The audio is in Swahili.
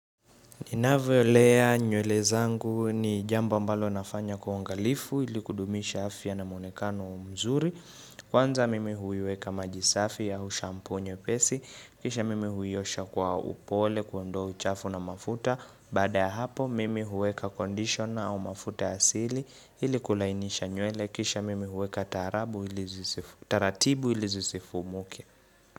Ninavyo lea nywele zangu ni jambo ambalo nafanya kwa uangalifu ili kudumisha afya na muonekano mzuri. Kwanza mimi huiweka maji safi au shampu nyepesi. Kisha mimi huiosha kwa upole kuondoa uchafu na mafuta. Baada ya hapo mimi huweka conditioner au mafuta ya asili ili kulainisha nywele. Kisha mimi huweka taratibu ili zisifumuke.